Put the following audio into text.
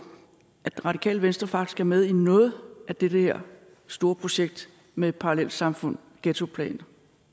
at radikale venstre faktisk er med i noget af det her store projekt med parallelsamfund og ghettoplaner